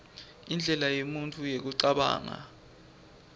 indlela yemuntfu yekucabanga